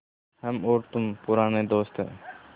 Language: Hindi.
हम और तुम पुराने दोस्त हैं